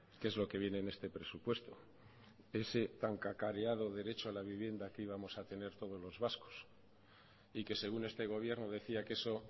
que es lo que viene en este presupuesto ese tan cacareado derecho a la vivienda que íbamos a tener todos los vascos y que según este gobierno decía que eso